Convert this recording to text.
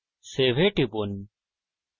save এ টিপুন